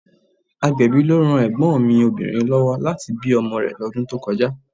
Agbẹ̀bí ló ran ègbón mi Obìnrin lówó láti bí ọmọ rè lọ́dún tó kọjá